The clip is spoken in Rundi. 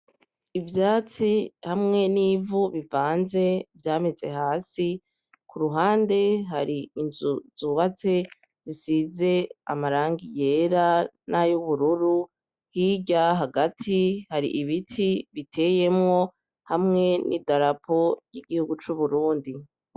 Ivyatsi hamwe n'ivu bivanze vyameze hasi, ku ruhande hari inzu zubatse zisize amarangi yera n'ayubururu, hirya hagati hari ibiti biteyemwo hamwe n'idarapo y'igihugu c'Uburundi.